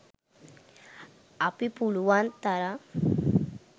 අපි පුලුවන් තරම්